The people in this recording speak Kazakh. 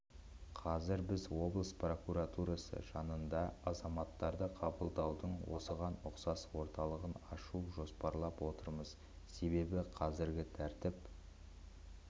қазір біз облыс прокуратурасы жанынан азаматтарды қабылдаудың осыған ұқсас орталығын ашуды жоспарлап отырмыз себебі қазіргі тәртіп